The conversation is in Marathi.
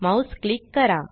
माउस क्लिक करा